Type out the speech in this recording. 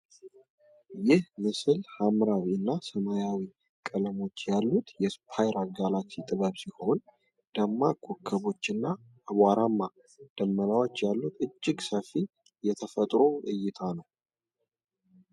ይህ ምስል ሐምራዊ እና ሰማያዊ ቀለሞች ያሉት የስፓይራል ጋላክሲ ጥበብ ሲሆን፣ ደማቅ ኮከቦችና አቧራማ ደመናዎች ያሉት እጅግ ሰፊ የጠፈር እይታ ነው።